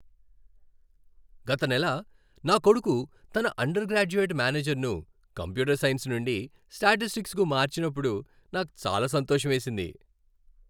గత నెల నా కొడుకు తన అండర్ గ్రాడ్యుయేట్ మేజర్ను కంప్యూటర్ సైన్స్ నుండి స్టాటిస్టిక్స్కు మార్చినప్పుడు నాకు చాలా సంతోషమేసింది.